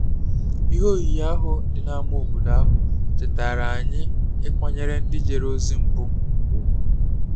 Ihe oyiyi ahụ dị n’ámá obodo ahụ chetaara anyị ịkwanyere ndị jere ozi mbụ ùgwù